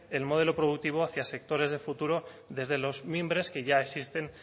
el modelo productivo hacia sectores de futuro desde los mimbres que ya existen